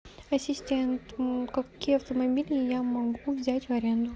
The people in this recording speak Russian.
ассистент какие автомобили я могу взять в аренду